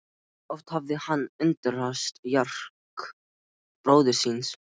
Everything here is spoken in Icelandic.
Oft hafði hann undrast kjark bróður síns.